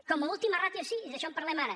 com a última rà·tio sí i d’això en parlem ara